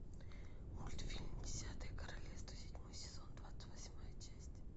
мультфильм десятое королевство седьмой сезон двадцать восьмая часть